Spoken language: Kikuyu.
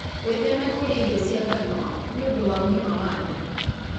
Wĩtheme kũrĩa irio cia ngano nĩ ũndũ wa ũgima wa nda.